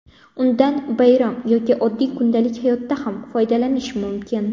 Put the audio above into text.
Undan bayram yoki oddiy kundalik hayotda ham foydalanish mumkin.